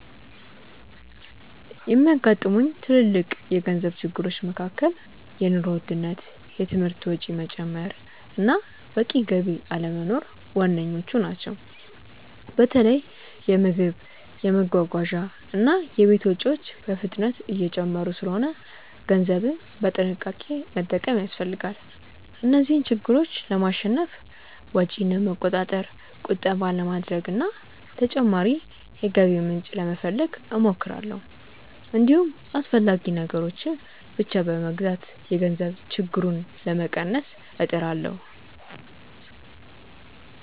የሚያጋጥሙኝ ትልልቅ የገንዘብ ችግሮች መካከል የኑሮ ውድነት፣ የትምህርት ወጪ መጨመር እና በቂ ገቢ አለመኖር ዋነኞቹ ናቸው። በተለይ የምግብ፣ የመጓጓዣ እና የቤት ወጪዎች በፍጥነት እየጨመሩ ስለሆነ ገንዘብን በጥንቃቄ መጠቀም ያስፈልጋል። እነዚህን ችግሮች ለማሸነፍ ወጪን ለመቆጣጠር፣ ቁጠባ ለማድረግ እና ተጨማሪ የገቢ ምንጭ ለመፈለግ እሞክራለሁ። እንዲሁም አስፈላጊ ነገሮችን ብቻ በመግዛት የገንዘብ ችግሩን ለመቀነስ እጥራለሁ።